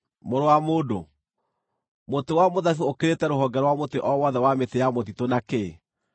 “Mũrũ wa mũndũ, mũtĩ wa mũthabibũ ũkĩrĩte rũhonge rwa mũtĩ o wothe wa mĩtĩ ya mũtitũ na kĩ?